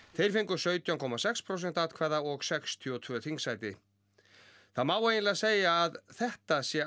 þeir fengu sautján komma sex prósent atkvæða og sextíu og tvö þingsæti það má eiginlega segja að þetta sé